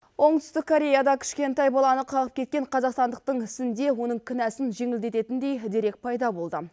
оңтүстік кореяда кішкентай баланы қағып кеткен қазақстандықтың ісінде оның кінәсін жеңілдететіндей дерек пайда болды